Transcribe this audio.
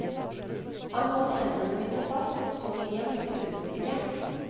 Han holdt hendene mine fast som i en skruestikke.